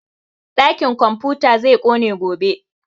Ɗakin komfuta zai ƙone gobe